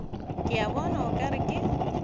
ke bona o ka re